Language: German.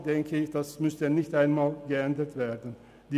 Deshalb denke ich, dass dies nicht einmal geändert werden müsste.